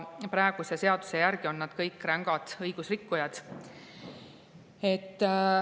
Praeguse seaduse järgi on nad kõik rängad õigusrikkujad.